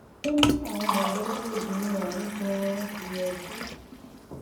ó ní àwọn mọlẹbí obìnrin ọhún ganan ti yọjú